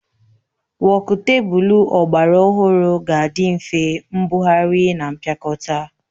Wokutebụl ọgbara ọhụrụ ga-adị nfe mbugharị na mpịakọta